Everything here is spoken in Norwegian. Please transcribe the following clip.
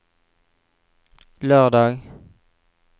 lørdag